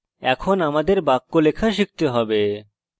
এখন আমাদের বাক্য লেখা শিখতে have